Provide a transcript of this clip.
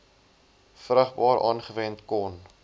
vrugbaar aangewend kon